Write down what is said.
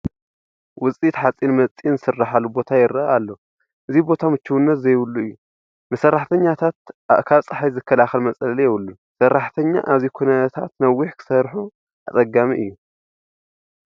ውፅኢት ሓፂን መፂን ዝስርሐሉ ቦታ ይርአ ኣሎ፡፡ እዚ ቦታ ምችውነት ዘይብሉ እዩ፡፡ ንሰራሕተኛታት ካብ ፀሓይ ዝከላኸል መፅለሊ የብሉን፡፡ ሰራሕተኛ ኣብዚ ኩነታት ነዊሕ ክሰርሑ ኣፀጋሚ እዩ፡፡